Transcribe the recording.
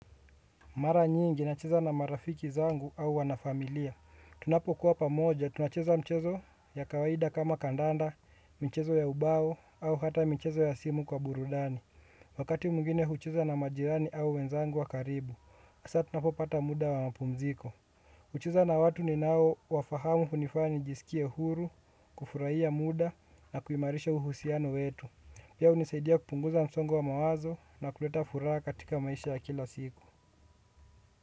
Mara nyingi nacheza na marafiki zangu au wana familia. Tunapo kuwa pamoja, tunacheza mchezo ya kawaida kama kandanda, mchezo ya ubao, au hata mchezo ya simu kwa burudani. Wakati mwingine hucheza na majirani au wenzangu wa karibu, hasa tunapopata muda wa mapumziko. Kucheza na watu ninao wafahamu hunifanya jisikie huru, kufurahia muda na kuimarisha uhusiano wetu. Pia hunisaidia kupunguza msongo wa mawazo na kuleta furaha katika maisha ya kila siku.